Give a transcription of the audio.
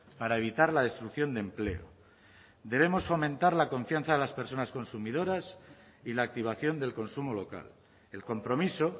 para evitar la destrucción de empleo debemos fomentar la confianza de las personas consumidoras y la activación del consumo local el compromiso